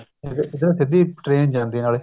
ਇੱਧਰ ਤਾਂ ਸਿੱਧੀ train ਜਾਂਦੀ ਆ ਨਾਲੇ